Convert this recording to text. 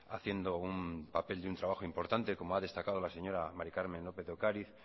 haciendo un papel de un trabajo importante como ha destacado la señora mari carmen lópez de ocariz